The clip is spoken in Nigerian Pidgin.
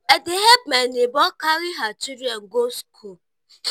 i dey help my nebor carry her children go school.